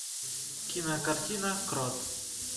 кинокартина крот